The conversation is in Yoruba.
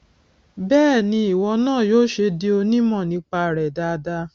bẹẹ ni ìwọ náà yóò ṣe di onímọ nípa rẹ dáadáa